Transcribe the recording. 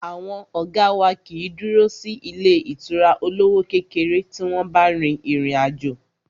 Àwọn ọ̀gá wá kìí dúró sí ilé ìtura olówó kékeré tí wọ́n bá rin ìrìn àjò.